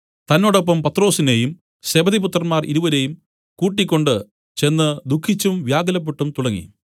തന്നോടൊപ്പം പത്രൊസിനേയും സെബെദിപുത്രന്മാർ ഇരുവരെയും കൂട്ടിക്കൊണ്ട് ചെന്ന് ദുഃഖിച്ചും വ്യാകുലപ്പെട്ടും തുടങ്ങി